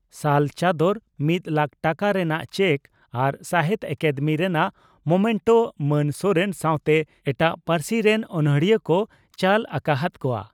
ᱥᱟᱞ ᱪᱚᱫᱚᱨ ᱢᱤᱫ ᱞᱟᱠ ᱴᱟᱠᱟ ᱨᱮᱱᱟᱜ ᱪᱮᱠ ᱟᱨ ᱥᱟᱦᱤᱛᱭᱚ ᱟᱠᱟᱫᱮᱢᱤ ᱨᱮᱱᱟᱜ ᱢᱚᱢᱮᱱᱴᱚ ᱢᱟᱱ ᱥᱚᱨᱮᱱ ᱥᱟᱣᱛᱮ ᱮᱴᱟᱜ ᱯᱟᱹᱨᱥᱤ ᱨᱮᱱ ᱚᱱᱚᱲᱤᱭᱟᱹ ᱠᱚ ᱪᱚᱞ ᱟᱠᱟ ᱦᱟᱫ ᱠᱚᱣᱟ ᱾